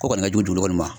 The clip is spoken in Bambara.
Ko kɔni ka jugu kɔni ma